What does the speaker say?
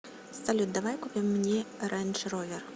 салют давай купим мне рэндж ровер